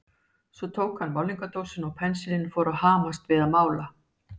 Svo tók hann málningardósina og pensilinn og fór að hamast við að mála.